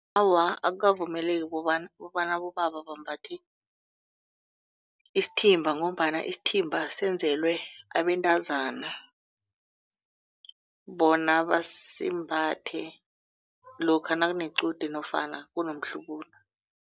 Awa akukavumeleki kobana kobana abobaba bambathe isithimba ngombana isithimba senzelwe abentazana bona basimbathe lokha nakunequde nofana kunomhlubulo.